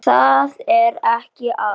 Og það er ekki allt.